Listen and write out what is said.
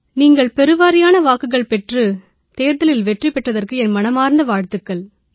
நீங்கள் பெருவாரியான வாக்குகள் பெற்று தேர்தலில் வெற்றி பெற்றதற்கு என் மனமார்ந்த வாழ்த்துகள்